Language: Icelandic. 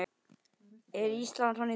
Er Ísland svona í dag?